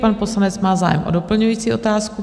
Pan poslanec má zájem o doplňující otázku.